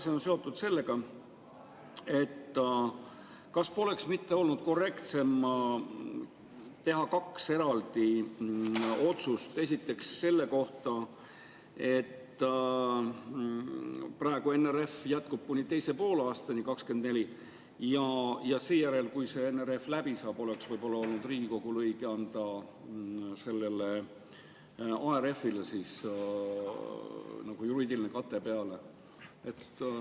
See on seotud sellega, et kas poleks mitte olnud korrektsem teha kaks eraldi otsust: esiteks selle kohta, et NRF jätkub kuni teise poolaastani 2024, ja seejärel, kui NRF läbi saab, oleks võib-olla olnud Riigikogul õige anda ARF-ile juriidiline kate.